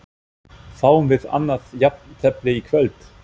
Fáum við annað jafntefli í kvöld?